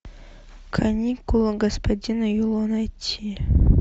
каникулы господина юло найти